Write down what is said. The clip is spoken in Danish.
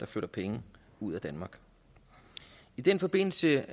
flytter penge ud af danmark i den forbindelse